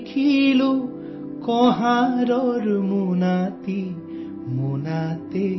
کھول کر دیکھا کمہار کے جھولے کو تو،